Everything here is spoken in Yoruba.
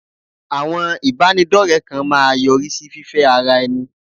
Àwọn ìbánidọ́rẹ kan máa yọrí sí fífẹ́ ara ẹni.